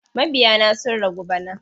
Mabiya na sun ragu bana.